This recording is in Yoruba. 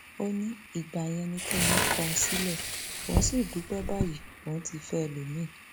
ó ní ìgbà yẹn ni kẹmi kọ òun sílẹ òun sì dúpẹ báyìí òun ti fẹ ẹlòmíín